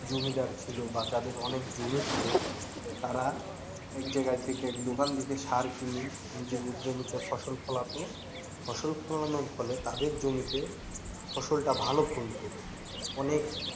জমিদার ছিল বা যাদের অনেক জমি ছিল তারা একজায়গা থেকে এক দোকান থেকে সার কিনে নিজেদের জমিতে ফসল ফলাতো, ফসল ফলানোর ফলে তাদের জমিতে ফসলটা ভালো ফলত অনেক,